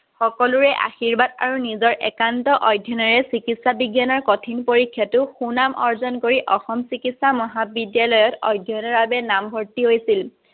সকলোৰে আশীৰ্বাদ আৰু নিজৰ একান্ত অধ্যয়নেৰে চিকিত্সা বিজ্ঞানৰ কঠিন পৰীক্ষাত সুনাম অৰ্জন কৰি চিকিত্সা মহাবিদ্যালয়ত অধ্যয়নৰ বাবে নামভৰ্তী কৰিছিল।